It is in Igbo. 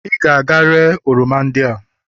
ị ga-aga ree oroma ndị a!